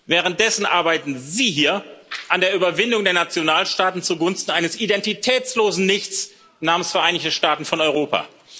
Währenddessen arbeiten Sie hier an der Überwindung der Nationalstaaten zugunsten eines identitätslosen Nichts namens Vereinigte Staaten von Europa.